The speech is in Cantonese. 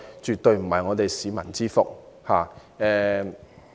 這絕非市民之福。